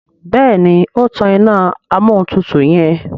Béèni o tán iná Amóhuntutù yen.